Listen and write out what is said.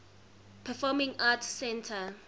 performing arts center